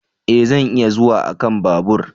E! Zan iya zuwa a kan babur.